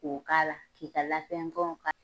Ko k'ala k'i ka lafin fɛnw ka